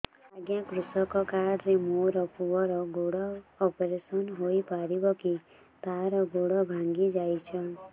ଅଜ୍ଞା କୃଷକ କାର୍ଡ ରେ ମୋର ପୁଅର ଗୋଡ ଅପେରସନ ହୋଇପାରିବ କି ତାର ଗୋଡ ଭାଙ୍ଗି ଯାଇଛ